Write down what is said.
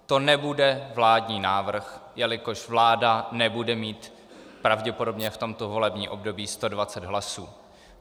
To nebude vládní návrh, jelikož vláda nebude mít pravděpodobně v tomto volebním období 120 hlasů.